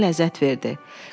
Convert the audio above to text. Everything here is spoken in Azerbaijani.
Bu ona ləzzət verdi.